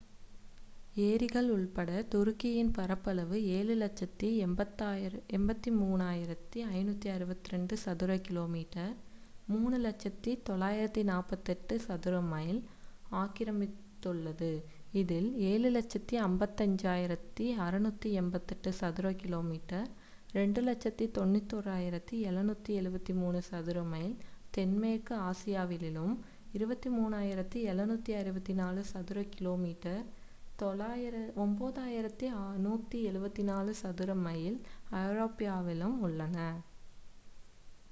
ஏரிகள் உட்பட துருக்கியின் பரப்பளவு 7,83,562 சதுர கிலோமீட்டர் 3,00,948 சதுர மைல் ஆக்கிரமித்துள்ளது இதில் 7,55,688 சதுர கிலோமீட்டர் 2,91,773 சதுர மைல் தென்மேற்கு ஆசியாவிலும் 23,764 சதுர கிலோமீட்டர் 9,174 சதுர மைல் ஐரோப்பாவிலும் உள்ளன